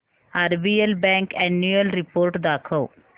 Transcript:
RBL bank annual report दाखव